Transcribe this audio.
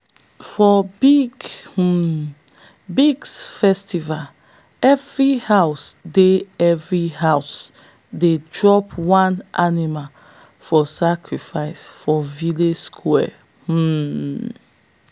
for big um big festival every house dey every house dey drop one animal for sacrifice for village square. um